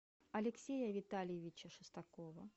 алексея витальевича шестакова